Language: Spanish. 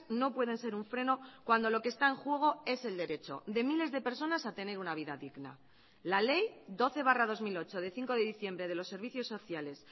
no pueden ser un freno cuando lo que está en juego es el derecho de miles de personas a tener una vida digna la ley doce barra dos mil ocho de cinco de diciembre de los servicios sociales